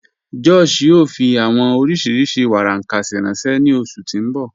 Josh yóò fí awọn oriṣí warankasi ranṣẹ ni oṣù tí n bọ́